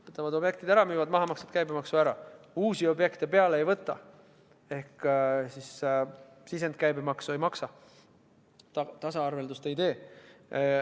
Võtavad objektid ära, müüvad maha, maksavad käibemaksu ära, uusi objekte peale ei võta ehk sisendkäibemaksu ei maksa, tasaarveldust ei tee.